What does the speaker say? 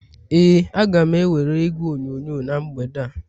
Ee, a ga m ewere igwe onyonyo na mgbede a